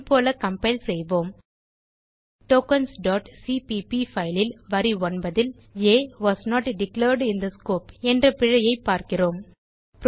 முன்போல compile செய்வோம் tokensசிபிபி file ல் வரி 9 ல் a was not declared in the scope என்ற பிழையைப் பார்க்கிறோம்